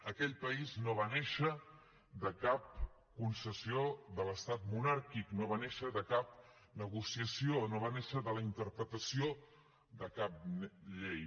aquell país no va néixer de cap concessió de l’estat monàrquic no va néixer de cap negociació no va néixer de la interpretació de cap llei